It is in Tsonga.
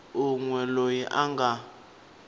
un we loyi a nga